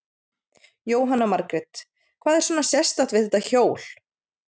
Jóhanna Margrét: Hvað er svona sérstakt við þetta hjól?